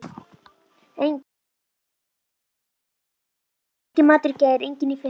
Enginn matur í gær, enginn í fyrradag.